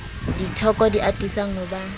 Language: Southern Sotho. dithoko di atisang ho ba